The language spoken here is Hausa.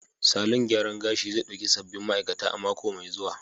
Salon gyaran gashi zai dauki sabbin ma'aikata a mako mai zuwa.